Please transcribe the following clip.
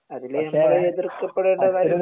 അതില് നമ്മൾ എതിർക്കപ്പെടേണ്ട